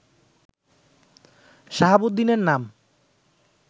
শাহাবুদ্দিনের নাম